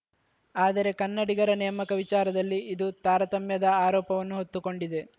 ಆದರೆ ಕನ್ನಡಿಗರ ನೇಮಕ ವಿಚಾರದಲ್ಲಿ ಇದು ತಾರತಮ್ಯದ ಆರೋಪವನ್ನು ಹೊತ್ತುಕೊಂಡಿದೆ